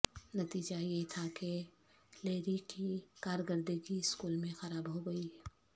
نتیجہ یہ تھا کہ لیری کی کارکردگی اسکول میں خراب ہوگئی